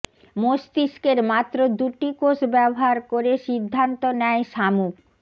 মস্তিষ্কের মাত্র দুটি কোষ ব্যবহার করে সিদ্ধান্ত নেয় শামুক